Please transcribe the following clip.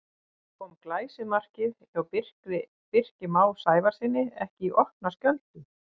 Kom glæsimarkið hjá Birki Má Sævarssyni ekki í opna skjöldu?